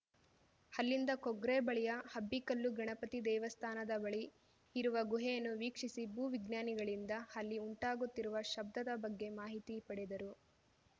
ಅಲ್ಲಿಂದ ಕೊಗ್ರೆ ಬಳಿಯ ಅಬ್ಬಿಕಲ್ಲು ಗಣಪತಿ ದೇವಸ್ಥಾನದ ಬಳಿ ಇರುವ ಗುಹೆಯನ್ನು ವೀಕ್ಷಿಸಿ ಭೂ ವಿಜ್ಞಾನಿಗಳಿಂದ ಅಲ್ಲಿ ಉಂಟಾಗುತ್ತಿರುವ ಶಬ್ಧದ ಬಗ್ಗೆ ಮಾಹಿತಿ ಪಡೆದರು